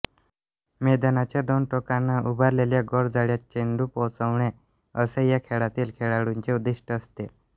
मैदानाच्या दोन टोकांना उभारलेल्या गोलजाळ्यात चेंडू पोहोचवणे असे या खेळातील खेळाडूंचे उद्दिष्ट असते